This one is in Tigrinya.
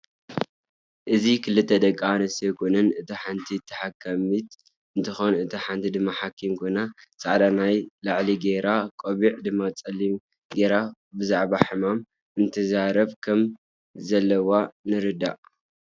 እዚ ክልተ ደቂ ኣንስትዮ ኮይነን እታ ሓንቲ ተሓከምት እንትትኮን እታ ሓንቲ ድማ ሓኪም ኮይና ፃዕዳ ናይ ላዕ ገይራ ቆብዕ ድማ ፀሊም ገይራ ብዛዕባ ሕማመን እደተዛረባ ከም ዘለዋ ንርዳእ።